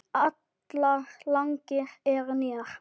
Allar lagnir eru nýjar.